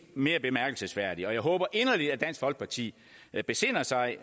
mere bemærkelsesværdige jeg håber inderligt at dansk folkeparti besinder sig